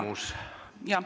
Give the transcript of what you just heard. Palun küsimus!